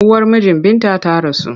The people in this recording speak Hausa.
Uwar mijin Binta ta rasu.